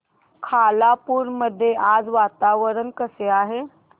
खालापूर मध्ये आज वातावरण कसे आहे